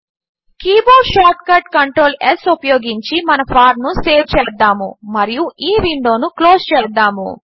keyboard shortcut control S ఉపయోగించి మన form ను సేవ్ చేద్దాము మరియు ఈ విండోను క్లోస్ చేద్దాము